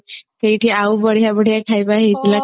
ସେଇଠି ଆଉ ବଢିଆ ବଢିଆ ଖାଇବା ହେଇଥିଲା